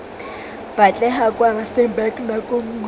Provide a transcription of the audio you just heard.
batlega kwa rustenburg nako nngwe